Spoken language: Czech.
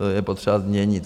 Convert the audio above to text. To je potřeba změnit.